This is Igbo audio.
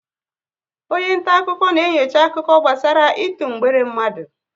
Onye nta akụkọ na enyocha akụkọ gbasara ịtụ mgbere mmadụ